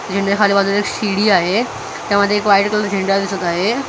जिन्याच्या खाली बाजूला एक सी_डी आहे त्यामध्ये एक व्हाईट कलरचा झेंडा दिसत आहे .